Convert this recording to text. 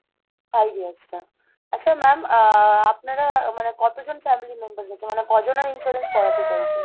five years টা, আচ্ছা ma'am ah আপনারা মানে কতজন family members আছে? মানে কজনের insurance করাতে চাইছেন?